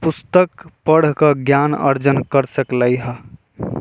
पुस्तक पढ़कर ज्ञान अर्जन कर सकले ह --